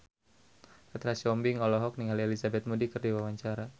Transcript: Petra Sihombing olohok ningali Elizabeth Moody keur diwawancara